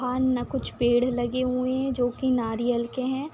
हाँ ना कुछ पेड़ लगे हुए है जो कि नारियल के है।